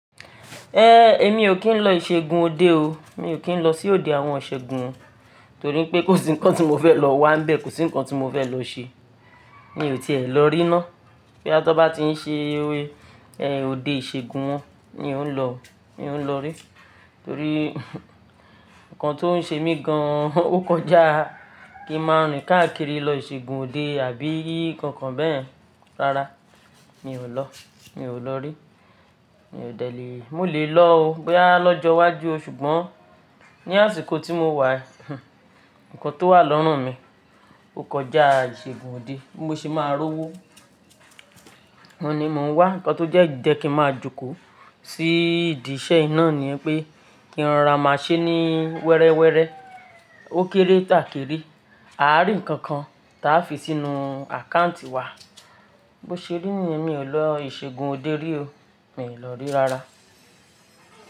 Ẹẹ́ èmi ò kí ń lọ ìṣẹ́gun òde o. Mi ò kí ń lọ sí òde àwọn ìṣẹ́gun torí pé kò sí nǹkan tí mo fẹ́ lọ wá ń bẹ, kò sí nǹkan tí mo fẹ́ lọ ṣe. Mi ò tiẹ̀ lọ rí ná. Bí a bá ti ń ṣe òde ìṣẹ́gun wọn ni n ó lọ, ni n ó lọ rí. Torí nǹkan tó ń ṣe mí gan ọ kọjá kí n máa rìn káàkiri lọ ìṣẹ́gun òde àbí kànkàn bẹ́ẹ̀ rárá, mi ò lọ, mi ò lọ rí. Mi ò dẹ̀ lé, mo lè lọ o bí a lọ́jọ́ iwájú o ṣùgbọ́n ní àsìkò tí mó wà, nǹkan tó wà lọ́rùn mi, ó kọjá ìṣẹ́gun òde. Bí mo ṣe máa rówó, wọ́n ni mò ń wá. Ǹǹkan tó jẹ́ jẹ́ kí n máa jókòó sí ìdí iṣẹ́ iná ni pé kí wọn ra máa ṣe ní wẹrẹwẹrẹ ó kéré táàkiri. A á rí nǹkàn kàn ta a fi sínú àkáǹtì wa. Bó ṣe rí ni èmi ò lọ ìṣẹ́gun òde rí o. Mi ò lọ rí rárá.